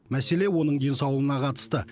мәселе оның денсаулығына қатысты